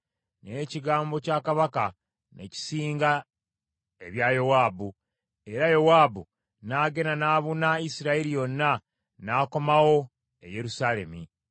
Naye ekigambo kya kabaka ne kisinga ebya Yowaabu, era Yowaabu n’agenda n’abuna Isirayiri yonna, n’akomawo e Yerusaalemi.